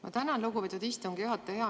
Ma tänan, lugupeetud istungi juhataja!